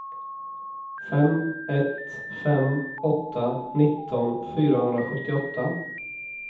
fem ett fem åtta nitton fyrahundrasjuttioåtta